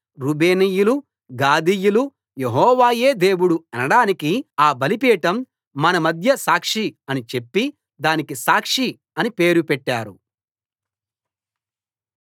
రూబేనీయులు గాదీయులు యెహోవాయే దేవుడు అనడానికి ఆ బలిపీఠం మన మధ్య సాక్షి అని చెప్పి దానికి సాక్షి అనే పేరు పెట్టారు